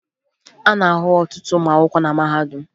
A na-ahụ ọtụtụ ụmụ akwụkwọ na mahadum